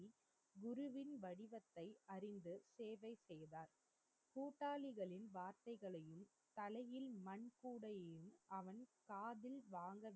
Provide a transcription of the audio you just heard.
குருவின் வடிவத்தை அறிந்து சேவை செய்தார் கூட்டாளிகளின் வார்த்தைகலையும் தலையில் மண்கூடையும் அவன் காதில் வாங்க